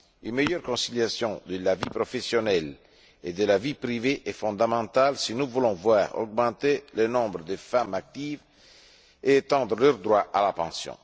Une meilleure conciliation de la vie professionnelle et de la vie privée est fondamentale si nous voulons voir augmenter le nombre de femmes actives et étendre leurs droits à la pension.